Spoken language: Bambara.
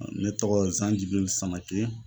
Ne tɔgɔ ye Zanjgii Sama